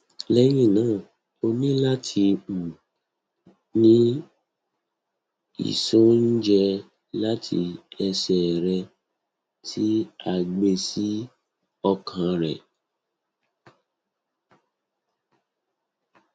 lẹhinna o ni lati um ni iṣọnẹjẹ lati ẹsẹ rẹ ti a gbe si ọkan rẹ